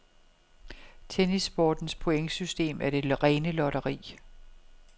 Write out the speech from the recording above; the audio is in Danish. Tennissportens pointsystem er det rene lotteri.